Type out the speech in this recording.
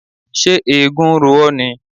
Ṣé eégún ń ro ọ́ ni?